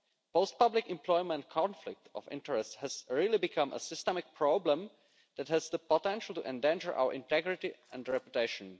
Post public employment conflict of interest has really become a systemic problem that has the potential to endanger our integrity and reputation.